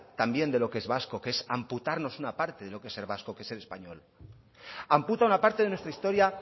también de lo que es vasco que es apuntarnos una parte de lo que es ser vasco que es ser español amputa una parte de nuestra historia